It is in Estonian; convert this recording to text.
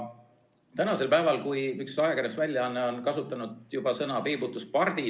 Üks ajakirjandusväljaanne on juba kasutanud sõna "peibutuspardid".